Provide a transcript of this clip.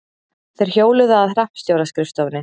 Þeir hjóluðu að hreppstjóra-skrifstofunni.